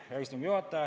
Hea istungi juhataja!